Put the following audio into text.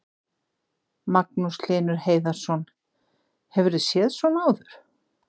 Magnús Hlynur Hreiðarsson: Hefurðu séð svona áður?